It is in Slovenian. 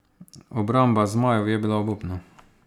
Obramba zmajev je bila obupna.